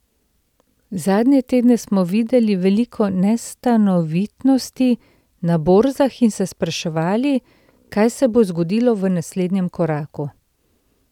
Zadnje tedne smo videli veliko nestanovitnosti na borzah in se spraševali, kaj se bo zgodilo v naslednjem koraku.